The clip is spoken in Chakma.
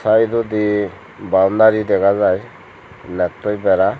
saidodi baundari dega jai nettoi bera.